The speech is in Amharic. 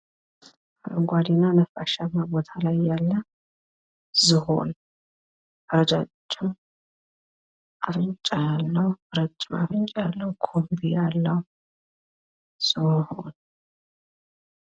አረንጓዴና ነፋሻማ ቤት ላይ ያለ ዝሆን ረዣዥም አፍንጫ ያለው ኩንቢ ያለው ዝሆን።